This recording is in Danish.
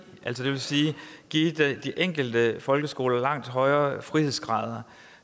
det vil sige give de enkelte folkeskoler langt højere frihedsgrader